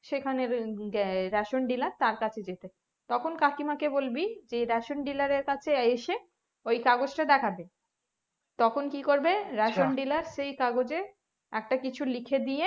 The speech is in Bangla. সেখানে ration dealer তার কাছে যেতে তখন কাকিমা কে বলবি যে ration dealer এর কাছে এসে ওই কাগজটা দেখাবে তখন কি করবে ration dilar সেই কাগজে একটা কিছু লিখে দিয়ে